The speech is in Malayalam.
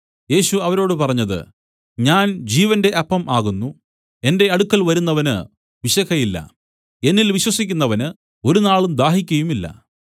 യേശു അവരോട് പറഞ്ഞത് ഞാൻ ജീവന്റെ അപ്പം ആകുന്നു എന്റെ അടുക്കൽ വരുന്നവന് വിശക്കയില്ല എന്നിൽ വിശ്വസിക്കുന്നവന് ഒരുനാളും ദാഹിക്കയുമില്ല